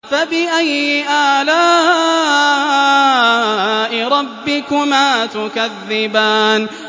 فَبِأَيِّ آلَاءِ رَبِّكُمَا تُكَذِّبَانِ